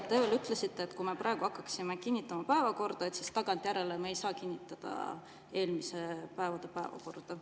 Te ütlesite, et kui me praegu hakkaksime kinnitama päevakorda, siis tagantjärele me ei saa kinnitada eelmiste päevade päevakorda.